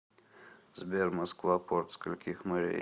сбер москва порт скольких морей